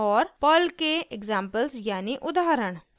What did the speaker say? और पर्ल के एक्साम्पल्स यानी उदाहरण